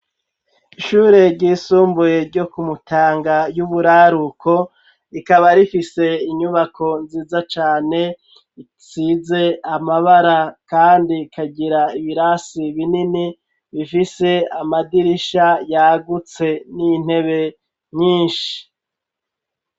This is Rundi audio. Ishure ryisumbuye, ryo ku Mutanga y'uburaruko; rikaba rifise, inyubako nziza cane, isize amabara, kandi ikagira ibirasi binini, bifise amadirisha yagutse, n'intebe nyinshi.